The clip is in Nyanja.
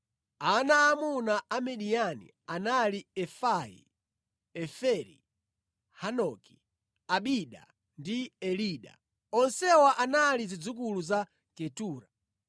Ana aamuna a Midiyani anali, Efai, Eferi, Hanoki, Abida ndi Elida. Onsewa anali zidzukulu za Ketura.